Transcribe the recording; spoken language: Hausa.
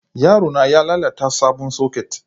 Yaro na ya lalata sabon soket